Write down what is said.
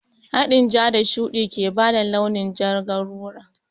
Haɗin ja da shuɗi ke bada launin jar garura